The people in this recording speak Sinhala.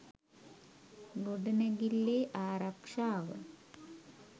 ගොඩනැගිල්ලේ ආරක්‍ෂාව